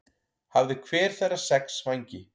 Hafði hver þeirra sex vængi.